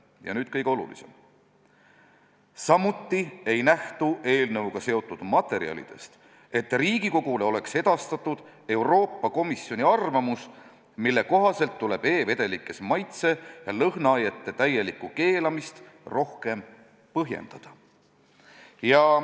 " Ja nüüd kõige olulisem: "Samuti ei nähtu eelnõuga seotud materjalidest, et Riigikogule oleks edastatud Euroopa Komisjoni arvamus, mille kohaselt tuleb e-vedelikes maitse- ja lõhnaainete täielikku keelamist rohkem põhjendada.